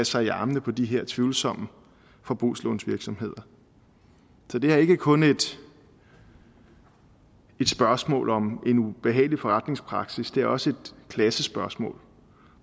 sig i armene på de her tvivlsomme forbrugslånsvirksomheder så det er ikke kun et spørgsmål om en ubehagelig forretningspraksis det er også et klassespørgsmål